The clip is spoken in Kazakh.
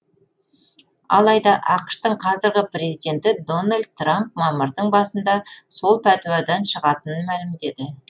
алайда ақш тың қазіргі президенті дональд трамп мамырдың басында сол пәтуадан шығатынын мәлімдеді